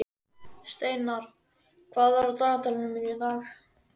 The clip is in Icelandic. Steinar, hvað er á dagatalinu mínu í dag?